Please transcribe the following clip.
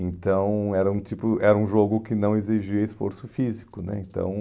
Então, era um tipo era um jogo que não exigia esforço físico né, então